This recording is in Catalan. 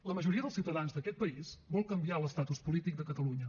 la majoria dels ciutadans d’aquest país vol canviar l’estatus polític de catalunya